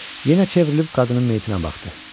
Yenə çevrilib qadının meyitinə baxdı.